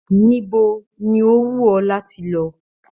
Níbo ní o wù ọ láti lọ?